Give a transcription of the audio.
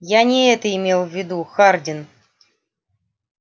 я не это имел в виду хардин